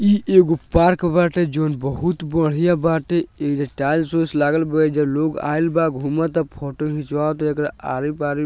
ई एगो पार्क बाटे जोवन बहुत बढ़ियां बाटे एइजा टाइल्स उइल्स लागल बा ऐजा लोग आईल बा घुमता फोटो खिंचवाता एकरा आरी-पारी।